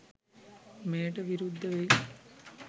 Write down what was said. මෙයට විරුද්ධවෙයි.